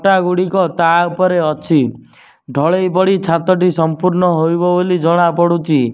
ଇଟା ଗୁଡ଼ିକ ତା ଉପରେ ଅଛି ଢ଼ଳେଇ ପଡ଼ି ଛାତ ଟି ସମ୍ପୂର୍ଣ ହୋଇବ ବୋଲି ଜଣା ପଡୁଛି।